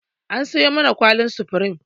An sayo mana kwallin supreme.